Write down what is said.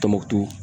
Tɔnbukutu